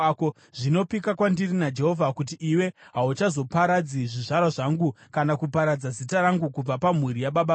Zvino pika kwandiri naJehovha kuti iwe hauchazoparadzi zvizvarwa zvangu kana kuparadza zita rangu kubva pamhuri yababa vangu.”